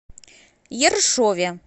ершове